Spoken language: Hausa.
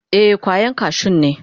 Ee, kwayan kashun ne.